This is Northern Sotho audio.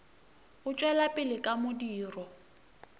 o tšwela pele ka modiro